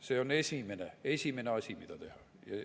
See on esimene asi, mida teha.